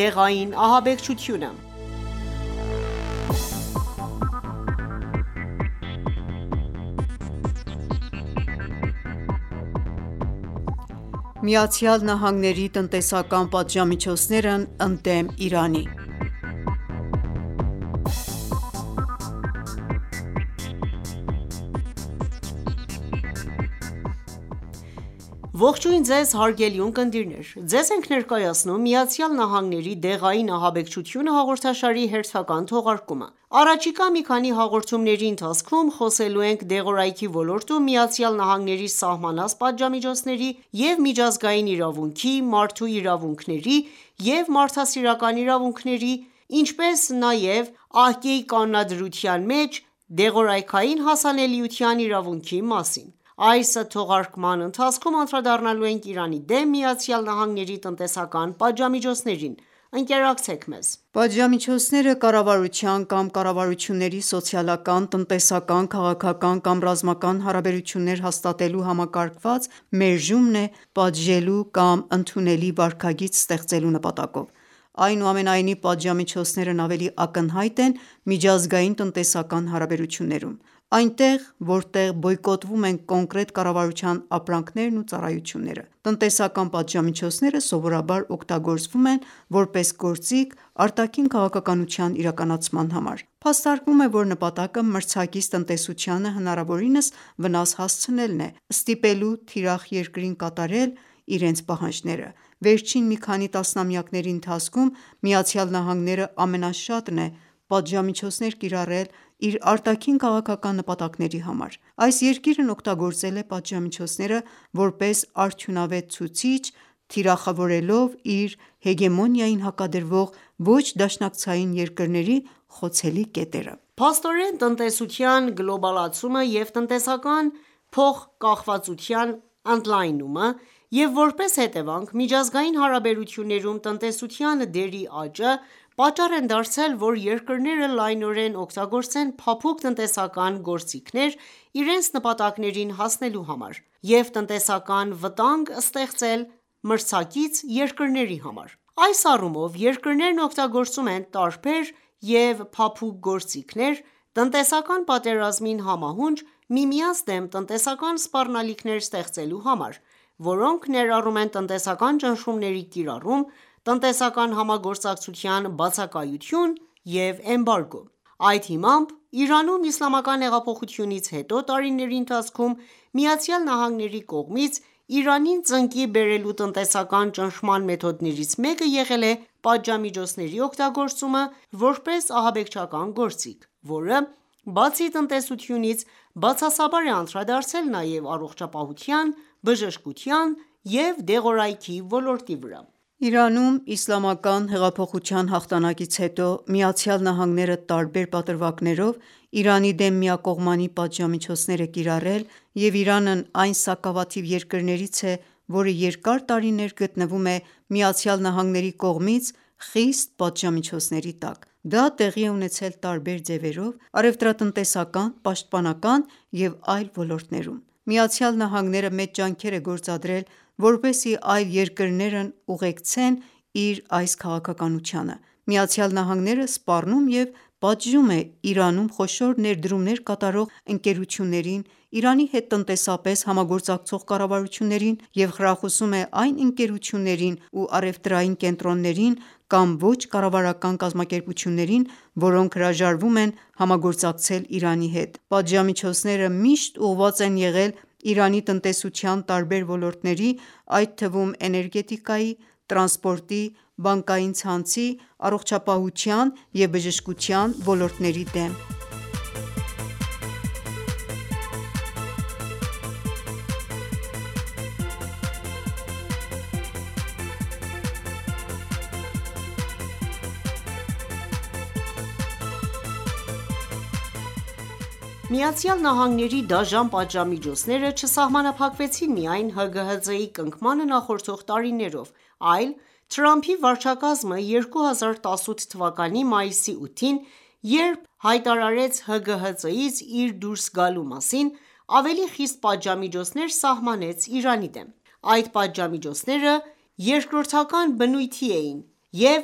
դեղային ահաբեկչությունը (2.ԱՄՆ-ի տնտեսական պատժամիջոցներն ընդդեմ Իրանի) Ողջույն ձեզ հարգելի ունկնդիրներ: Ձեզ ենք ներկայացնում «ԱՄՆ-ի դեղային ահաբեկչությունը» հաղորդաշարի հերթական թողարկումը: Առաջիկա մի քանի հաղորդումների ընթացքում խոսելու ենք դեղորայքի ոլորտում ԱՄՆ-ի սահմանած պատժամիջոցների և միջազգային իրավունքի, մարդու իրավունքների և մարդասիրական իրավունքների, ինչպես նաև ԱՀԿ-ի կանոնադրության մեջ դեղորայքին հասանելիության իրավունքի մասին:Այս թողարկման ընթացքում անդրադառնալու ենք Իրանի դեմ ԱՄՆ-ի տնտեսական պատժամիջոցներին: Ընկերակցեք մեզ: Պատժամիջոցը կառավարության կամ կառավարությունների սոցիալական, տնտեսական, քաղաքական կամ ռազմական հարաբերություններ հաստատելու համակարգված մերժումն է՝ պատժելու կամ ընդունելի վարքագիծ ստեղծելու նպատակով: Այնուամենայնիվ, պատժամիջոցներն ավելի ակնհայտ են միջազգային տնտեսական հարաբերություններում: Այնտեղ, որտեղ բոյկոտվում են կոնկրետ կառավարության ապրանքներն ու ծառայությունները: Տնտեսական պատժամիջոցները սովորաբար օգտագործվում են որպես գործիք արտաքին քաղաքականության իրականացման համար։ Փաստարկվում է, որ նպատակը մրցակից տնտեսությանը հնարավորինս վնաս հասցնելն է՝ ստիպելու թիրախ երկրին կատարել իրենց պահանջները։ Վերջին մի քանի տասնամյակների ընթացքում Միացյալ Նահանգները ամենաշատն է պատժամիջոցներ կիրառել իր արտաքին քաղաքական նպատակների համար: Այս երկիրն օգտագործել է պատժամիջոցները՝ որպես արդյունավետ ցուցիչ՝ թիրախավորելով իր հեգեմոնիային հակադրվող ոչ դաշնակցային երկրների խոցելի կետերը: Փաստորեն, տնտեսության գլոբալացումը և տնտեսական փոխկախվածության ընդլայնումը և որպես հետևանք միջազգային հարաբերություններում տնտեսության դերի աճը պատճառ են դարձել, որ երկրները լայնորեն օգտագործեն փափուկ տնտեսական գործիքներ իրենց նպատակներին հասնելու համար և տնտեսական վտանգ ստեղծել մրցակից երկրների համար: Այս առումով երկրներն օգտագործում են տարբեր և փափուկ գործիքներ՝ տնտեսական պատերազմին համահունչ միմյանց դեմ տնտեսական սպառնալիքներ ստեղծելու համար, որոնք ներառում են տնտեսական ճնշումների կիրառում, տնտեսական համագործակցության բացակայություն և էմբարգո: Այդ հիմամբ, Իրանում իսլամական հեղափոխությունից հետո տարիների ընթացքում ԱՄՆ-ի կողմից Իրանին ծնկի բերելու տնտեսական ճնշման մեթոդներից մեկը եղել է պատժամիջոցների օգտագործումը որպես ահաբեկչական գործիք, որը, բացի տնտեսությունից, բացասաբար է անդրադարձել նաև առողջապահության, բժշկության և դեղորայքի ոլորտի վրա: Իրանում Իսլամական հեղափոխության հաղթանակից հետո ԱՄՆ-ն տարբեր պատրվակներով Իրանի դեմ միակողմանի պատժամիջոցներ է կիրառել, և Իրանը այն սակավաթիվ երկրներից է, որը երկար տարիներ գտնվում է Միացյալ Նահանգների կողմից խիստ պատժամիջոցների տակ: Դա տեղի է ունեցել տարբեր ձևերով՝ առևտրատնտեսական, պաշտպանական և այլ ոլորտներում։ Միացյալ Նահանգները մեծ ջանքեր է գործադրել որպեսզի այլ երկրներն ուղեկցեն իր այս քաղաքականությանը։ ԱՄՆ-ն սպառնում և պատժում է Իրանում խոշոր ներդրումներ կատարող ընկերություններին, Իրանի հետ տնտեսապես համագործակցող կառավարություններին, և խրախուսում է այն ընկերություններին ու առևտրային կենտրոններին կամ ոչ կառավարական կազմակերպություններին, որոնք հրաժարվում են համագործակցել Իրանի հետ: Պատժամիջոցները միշտ ուղղված են եղել Իրանի տնտեսության տարբեր ոլորտների, այդ թվում՝ էներգետիկայի, տրանսպորտի, բանկային ցանցի, առողջապահության և բժշկության ոլորտնեի դեմ: ԱՄՆ-ի դաժան պատժամիջոցները չսահմանափակվեցին միայն ՀԳՀԾ-ի կնքմանը նախորդող տարիներով, այլ Թրամփի վարչակազմը 2018 թվականի մայիսի 8-ին, երբ հայտարարեց ՀԳՀԾ-ից իր դուրս գալու մասին, ավելի խիստ պատժամիջոցներ սահմանեց Իրանի դեմ։ Այդ պատժամիջոցները երկրորդական բնույթ էին կրում և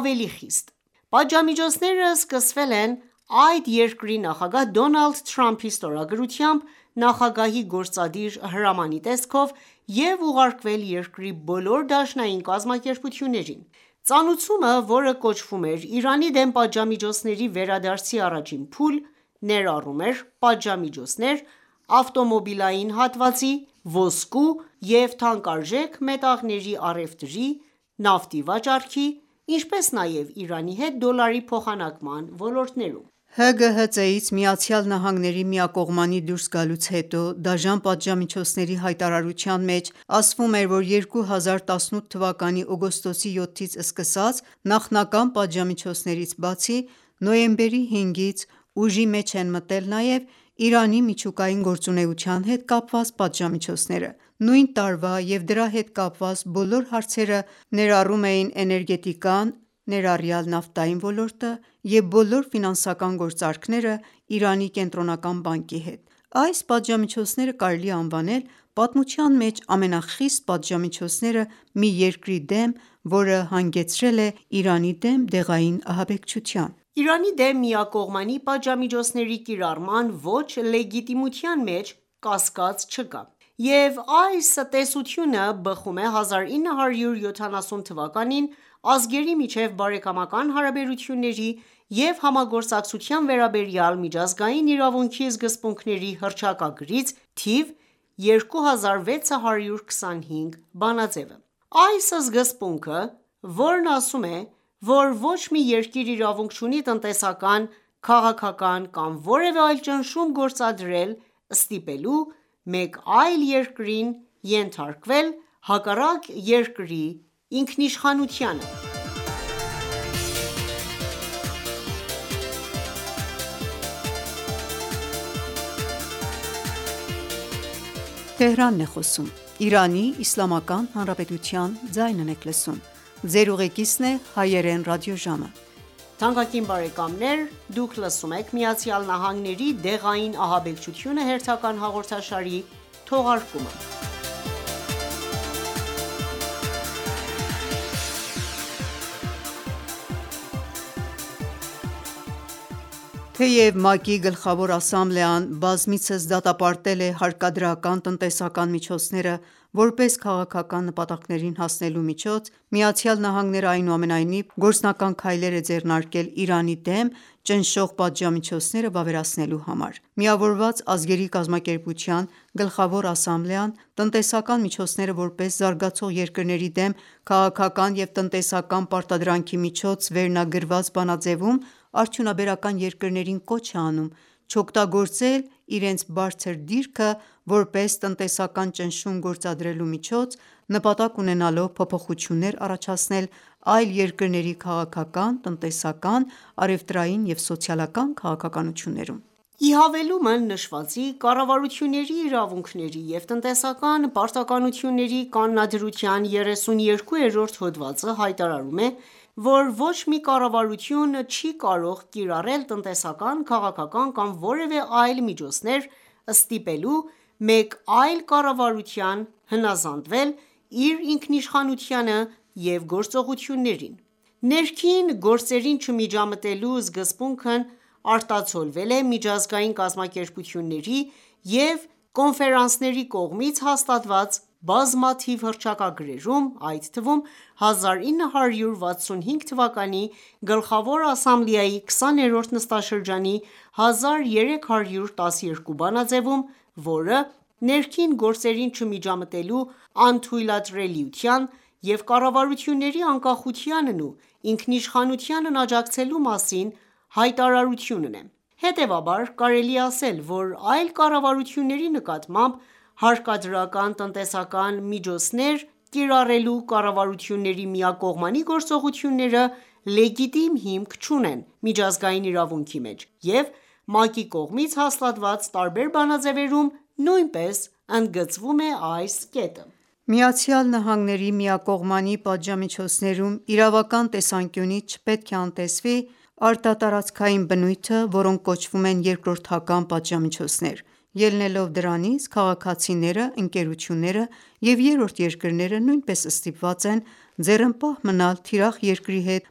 ավելի խիստ էին: Պատժամիջոցները սկսվել են այդ երկրի նախագահ Դոնալդ Թրամփի ստորագրությամբ՝ նախագահի գործադիր հրամանի տեսքով և ուղարկվել երկրի բոլոր դաշնային կազմակերպություններին։ Ծանուցումը, որը կոչվում էր Իրանի դեմ պատժամիջոցների վերադարձի առաջին փուլ, ներառում էր պատժամիջոցներ ավտոմոբիլային հատվածի, ոսկու և թանկարժեք մետաղների առևտրի, նավթի վաճառքի, ինչպես նաև Իրանի հետ դոլարի փոխանակման ոլորտներում: ՀԳՀԾ-ից ԱՄՆ-ի միակողմանի դուրս գալուց հետո դաժան պատժամիջոցների հայտարարության մեջ ասվում էր, որ 2018 թվականի օգոստոսի 7-ից սկսած նախնական պատժամիջոցներից բացի, նոյեմբերի 5-ից ուժի մեջ են մտել նաև Իրանի միջուկային գործունեության հետ կապված պատժամիջոցները։ նույն տարվա և դրա հետ կապված բոլոր հարցերը ներառում էին էներգետիկան, ներառյալ նավթային ոլորտը, և բոլոր ֆինանսական գործարքները Իրանի Կենտրոնական բանկի հետ։ Այս պատժամիջոցները կարելի է անվանել պատմության մեջ ամենախիստ պատժամիջոցները մի երկրի դեմ, որը հանգեցրել է Իրանի դեմ դեղային ահաբեկչության։ Իրանի դեմ միակողմանի պատժամիջոցների կիրառման ոչ լեգիտիմության մեջ կասկած չկա, և այս տեսությունը բխում է 1970 թվականին ազգերի միջև բարեկամական հարաբերությունների և համագործակցության վերաբերյալ միջազգային իրավունքի սկզբունքների հռչակագրից (թիվ 2625 բանաձև): Այդ սկզբունքը, որն ասում է, որ ոչ մի երկիր իրավունք չունի տնտեսական, քաղաքական կամ որևէ այլ ճնշում գործադրել՝ ստիպելու մեկ այլ երկրին ենթարկվել հակառակ երկրի ինքնիշխանությանը։ Թեև ՄԱԿ-ի Գլխավոր ասամբլեան բազմիցս դատապարտել է հարկադրական տնտեսական միջոցները՝ որպես քաղաքական նպատակներին հասնելու միջոց, Միացյալ Նահանգները, այնուամենայնիվ, գործնական քայլեր է ձեռնարկել Իրանի դեմ ճնշող պատժամիջոցները վավերացնելու համաար: Միավորված ազգերի կազմակերպության Գլխավոր ասամբլեան, «Տնտեսական միջոցները որպես զարգացող երկրների դեմ քաղաքական և տնտեսական պարտադրանքի միջոց» վերնագրված բանաձեւում արդյունաբերական երկրներին կոչ է անում չօգտագործել իրենց բարձր դիրքը որպես տնտեսական ճնշում գործադրելու միջոց՝ նպատակ ունենալով փոփոխություններ առաջացնել այլ երկրների քաղաքական, տնտեսական, առևտրային և սոցիալական քաղաքականություններում»: Ի հավելումն նշվածի, Կառավարությունների իրավունքների և տնտեսական պարտականությունների կանոնադրության 32-րդ հոդվածը հայտարարում է, որ ոչ մի կառավարություն չի կարող կիրառել տնտեսական, քաղաքական կամ որևէ այլ միջոցներ՝ ստիպելու մեկ այլ կառավարության հնազանդվել իր ինքնիշխանությանը և գործողություններին: Ներքին գործերին չմիջամտելու սկզբունքն արտացոլվել է միջազգային կազմակերպությունների և կոնֆերանսների կողմից հաստատված բազմաթիվ հռչակագրերում, այդ թվում՝ 1965թ. Գլխավոր ասամբլեայի 20-րդ նստաշրջանի 1312 բանաձևում, որը ներքին գործերին միջամտելու անթույլատրելիության և կառավարությունների անկախությանն ու ինքնիշխանությանն աջակցելու մասին հայտարարությունն է: Հետևաբար, կարելի է ասել, որ այլ կառավարությունների նկատմամբ հարկադրական տնտեսական միջոցներ կիրառելու կառավարությունների միակողմանի գործողությունները լեգիտիմ հիմք չունեն միջազգային իրավունքի մեջ, և ՄԱԿ-ի կողմից հաստատված տարբեր բանաձեւերում նույնպես ընդգծվում է այս կետը։ ԱՄՆ-ի միակողմանի պատժամիջոցներում իրավական տեսանկյունից չպետք է անտեսվի արտատարածքային բնույթը, որոնք կոչվում են երկրորդական պատժամիջոցներ։ Ելնելով դրանից՝ քաղաքացիները, ընկերությունները և երրորդ երկրները նույնպես ստիպված են ձեռնպահ մնալ թիրախ երկրի հետ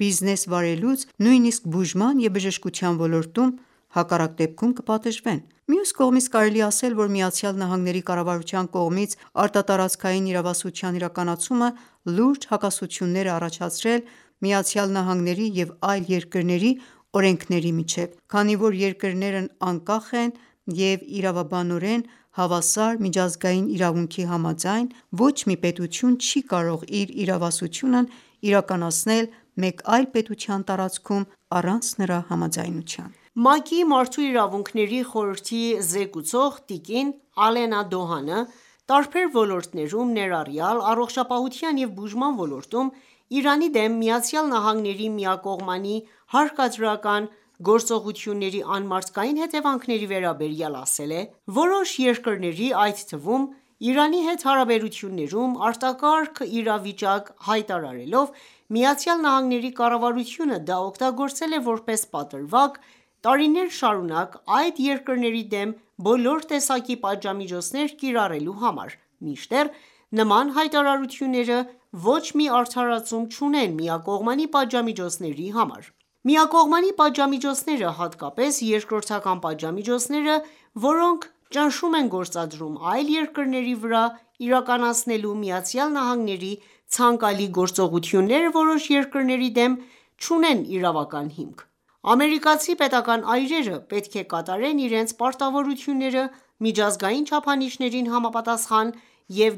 բիզնես վարելուց նույնիսկ բուժման և բժշկության ոլորտում, հակառակ դեպքում՝ կպատժվեն։ Մյուս կողմից, կարելի է ասել, որ Միացյալ Նահանգների կառավարության կողմից արտատարածքային իրավասության իրականացումը լուրջ հակասություններ է առաջացրել Միացյալ Նահանգների և այլ երկրների օրենքների միջև։ Քանի որ երկրներն անկախ են և իրավաբանորեն հավասար միջազգային իրավունքի համաձայն, ոչ մի պետություն չի կարող իր իրավասությունն իրականացնել մեկ այլ պետության տարածքում առանց նրա համաձայնության: ՄԱԿ-ի Մարդու իրավունքների խորհրդի զեկուցող տիկին Ալենա Դոհանը տարբեր ոլորտներում, ներառյալ առողջապահության և բուժման ոլորտում Իրանի դեմ Միացյալ Նահանգների միակողմանի հարկադրական գործողությունների անմարդկային հետևանքների վերաբերյալ ասել է.«Որոշ երկրների, այդ թվում՝ Իրանի հետ հարաբերություններում արտակարգ իրավիճակ հայտարարելով, ԱՄՆ-ի կառավարությունը դա օգտագործել է որպես պատրվակ՝ տարիներ շարունակ այդ երկրների դեմ բոլոր տեսակի պատժամիջոցներ կիրառելու համար, մինչդեռ նման հայտարարությունները ոչ մի արդարացում չունեն միակողմանի պատժամիջոցների համար։ Միակողմանի պատժամիջոցները, հատկապես երկրորդական պատժամիջոցները, որոնք ճնշում են գործադրում այլ երկրների վրա՝ իրականացնելու ԱՄՆ-ի ցանկալի գործողությունները որոշ երկրների դեմ, չունեն իրավական հիմք: Ամերիկացի պետական այրերը պետք է կատարեն իրենց պարտավորությունները միջազգային չափանիշներին համապատասխան և